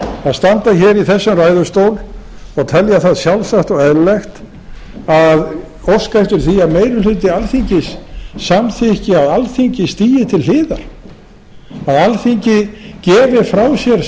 að standa í þessum ræðustól og telja það sjálfsagt og eðlilegt að óska eftir því að meiri hluti alþingis samþykki að alþingi stigi til hliðar að alþingi gefi frá sér stjórnarskrárvaldið